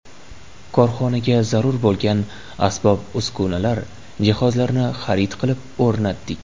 Korxonaga zarur bo‘lgan asbob-uskunalar, jihozlarni xarid qilib, o‘rnatdik.